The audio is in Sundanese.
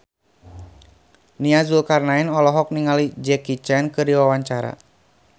Nia Zulkarnaen olohok ningali Jackie Chan keur diwawancara